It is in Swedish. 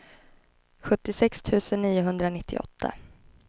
sjuttiosex tusen niohundranittioåtta